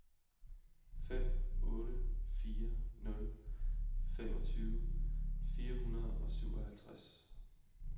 fem otte fire nul femogtyve fire hundrede og syvoghalvtreds